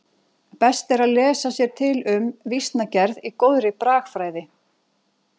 Best er að lesa sér til um vísnagerð í góðri bragfræði.